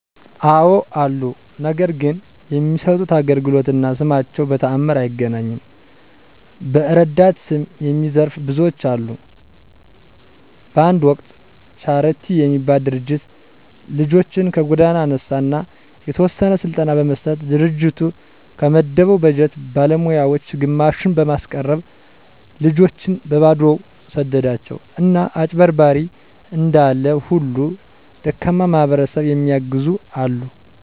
አወ አሉ። ነገር ግን የሚሠጡት አገልግሎት እና ስማቸው በተአምር አይገናኝም። በዕረዳታ ስም የሚዘርፉ ብዙዎች አሉ። በአንድ ወቅት ቻረቲ የሚባል ድርጅት ልጆችን ከጎዳና አነሣ አና የተወሰነ ስልጠና በመስጠት ድርጅቱ ከመደበው በጀት ባለሞያወች ግማሹን በማስቀረት ልጆችን በበባዶው ሰደዷቸው። አና አጭበርባሪ እንዳለ ሁሉ ደካማ ማሕበረሰብ የሚየግዙ አሉ።